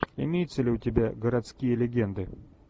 имеется ли у тебя городские легенды